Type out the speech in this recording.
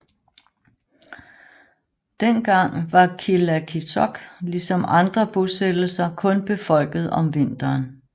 Dengang var Qilakitsoq ligesom andre bosættelser kun befolket om vinteren